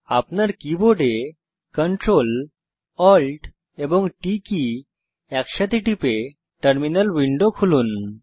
আপনার কীবোর্ডে Ctrl Alt এবং T কী একসাথে টিপে টার্মিনাল উইন্ডো খুলুন